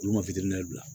Olu ma fitini bila